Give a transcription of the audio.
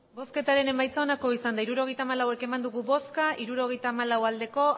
hirurogeita hamalau eman dugu bozka hirurogeita hamalau bai